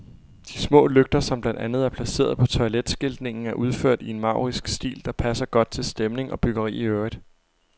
De små lygter, som blandt andet er placeret på toiletskiltningen, er udført i en maurisk stil, der passer godt til stemning og byggeri i øvrigt.